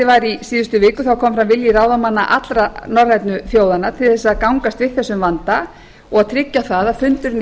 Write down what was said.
í síðustu viku kom fram vilji ráðamanna allra norrænu þjóðanna til þess að gangast við þessum vanda og að tryggja það að fundurinn í